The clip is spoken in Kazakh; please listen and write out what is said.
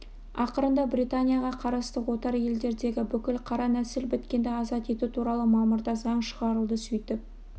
ақырында британияға қарасты отар елдердегі бүкіл қара нәсіл біткенді азат ету туралы мамырда заң шығарылды сөйтіп